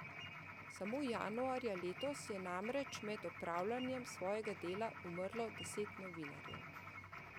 Samo januarja letos je namreč med opravljanjem svojega dela umrlo deset novinarjev.